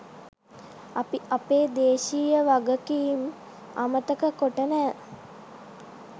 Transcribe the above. අපි අපේ දේශීය වගකීම් අමතක කොට නෑ.